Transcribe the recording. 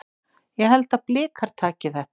Ég held að Blikar taki þetta.